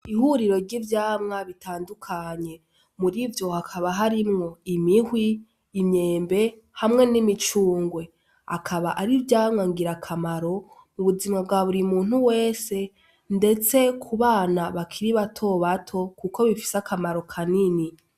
Ihuriro ry'ivyamwa bitandukanye, murivyo hakaba harimwo: imihwi, imyembe hamwe n'imicungwe, akaba ari ivyamwa ngirakamaro mu buzima bwa buri muntu wese ndetse ku bana bakiri bato bato kuko bifise akamaro kanini.